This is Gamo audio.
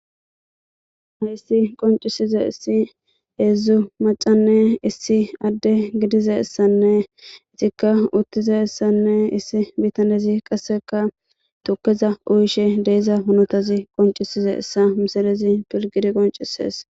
hayssi qoncisiza issi heedzdzu macanne issi adde gidiza essanne izikka uttiza essanne issi bitanezi qasseka tukkeza uyishe deiza hunotazi qoncisiza essa misalezi pilgidi qoncisees